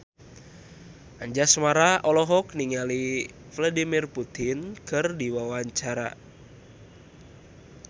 Anjasmara olohok ningali Vladimir Putin keur diwawancara